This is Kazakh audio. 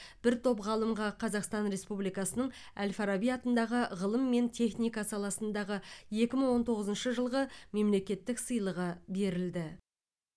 бір топ ғалымға қазақстан республикасының әл фараби атындағы ғылым мен техника саласындағы екі мың он тоғызыншы жылғы мемлекеттік сыйлығы берілді